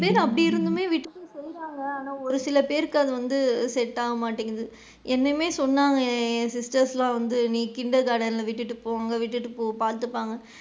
நிறைய பேரு அப்படி இருந்துமே ஆனா ஒரு சில பேருக்கு அது வந்து set ஆகா மாட்டேங்குது எண்ணமே சொன்னாங்க என் sisters லா வந்து நீ kinder garden ல விட்டுட்டு போ அங்க விட்டுட்டு போ பாத்துப்பாங்க,